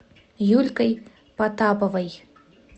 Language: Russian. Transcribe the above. юлькой потаповой